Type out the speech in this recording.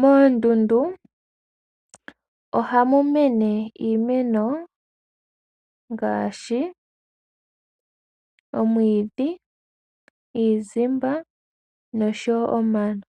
Moondundu ohamu mene iimeno ngaashi omwiidhi, iizimba noshowo omano.